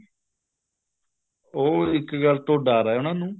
ਉਹ ਇੱਕ ਗੱਲ ਤੋਂ ਡਰ ਹੈ ਉਹਨਾ ਨੂੰ